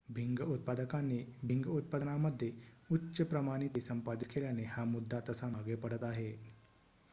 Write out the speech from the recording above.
भिंग उत्पादकांनी भिंग उत्पादनामध्ये उच्च प्रमाणिते संपादित केल्याने हा मुद्दा तसा मागे पडत आहे